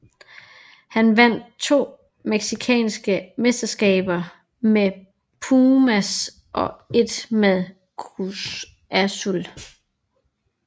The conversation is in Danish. Han vandt to mexicanske mesterskaber med Pumas og ét med Cruz Azul